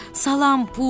Salam Pux.